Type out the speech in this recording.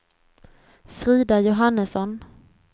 Frida Johannesson